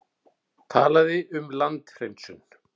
Talaði um landhreinsun.